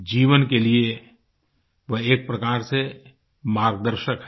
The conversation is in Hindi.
जीवन के लिए वह एक प्रकार से मार्ग दर्शक है